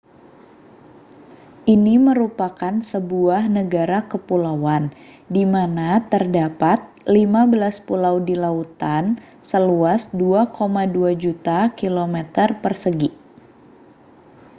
ini merupakan sebuah negara kepulauan di mana terdapat 15 pulau di lautan seluas 2,2 juta km2